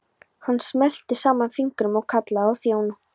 Hann smellti saman fingrum og kallaði á þjón.